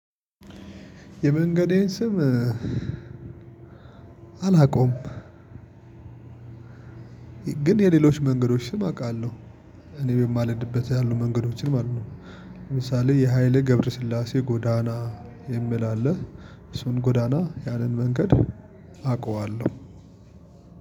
የመንገዴን ስም አላውቀውም ግን የሌሎች መንገዶች ስም አውቃለሁ። እኔ በማልድበት ያሉ መንገዶችን ማለት ነው። ለምሳሌ የሃይሌ ገብረስላሴ ጎዳና የሚል አለ። እሱን ጎዳና ያንን መንገድ አውቃለሁ።